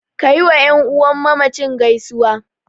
Ka yiwa ƴan uwan mamacin gaisuwa.